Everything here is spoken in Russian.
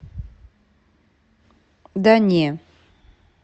да не